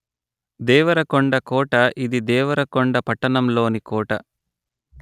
దేవరకొండ కోట ఇది దేవరకొండ పట్టణంలోని కోట